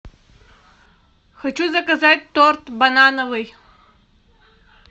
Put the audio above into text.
хочу заказать торт банановый